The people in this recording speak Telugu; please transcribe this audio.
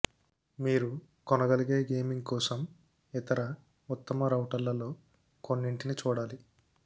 మీరు కొనగలిగే గేమింగ్ కోసం ఇతర ఉత్తమ రౌటర్లలో కొన్నింటిని చూడాలి